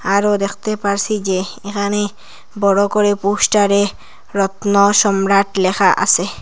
আরও দেখতে পারসি যে এখানে বড় করে পোস্টারে রত্ন সম্রাট লেখা আসে।